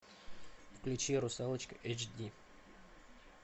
включи русалочка эйч ди